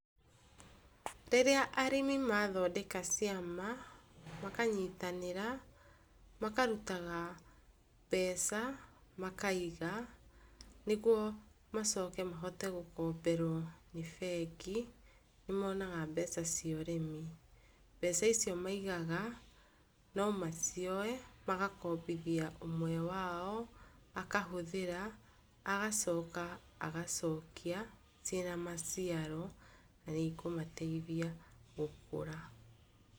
Rĩria arĩmi mathondeka ciama, makanyĩtanĩra, makarutaga mbeca makaiga, nĩgũo macoke mahote gũkomberwo nĩ mbengi, monaga mbeca cia ũrĩmi, mbeca icĩo maigaga no macioe magakobithia ũmwe wao, akahothĩra, agacoka agacokia cina maciaro na nĩ ikũmateithia gũkũra.